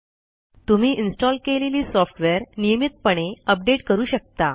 तुम्ही इन्स्टॉल केलेली सॉफ्टवेअर नियमितपणे अपडेट करू शकता